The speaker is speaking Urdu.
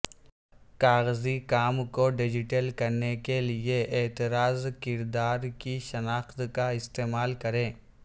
کاغذی کام کو ڈیجیٹل کرنے کے لئے اعتراض کردار کی شناخت کا استعمال کریں